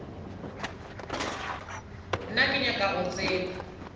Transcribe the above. nna ke nyaka go tseba